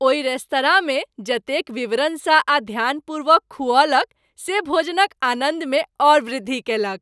ओहि रेस्तरांमे जतेक विवरण सँ आ ध्यानपूर्वक खुऔलक से भोजन क आनन्द मे औऱ वृद्धि कएलक ।